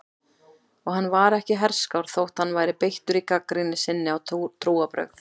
Og hann var ekki herskár þótt hann væri beittur í gagnrýni sinni á trúarbrögð.